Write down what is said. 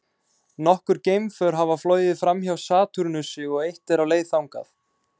Nokkur geimför hafa flogið framhjá Satúrnusi og eitt er á leið þangað.